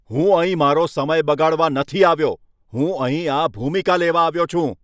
હું અહીં મારો સમય બગાડવા નથી આવ્યો! હું અહીં આ ભૂમિકા લેવા આવ્યો છું.